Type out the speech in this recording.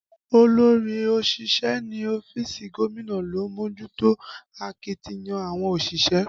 Olórí òṣìṣẹ́ ní ọ́fíìsì gómìnà ló ń mójútó akitiyan àwọn òṣìṣẹ́